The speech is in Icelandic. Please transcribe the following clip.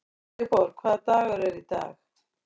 Sigurborg, hvaða dagur er í dag?